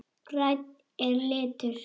Grænn er litur.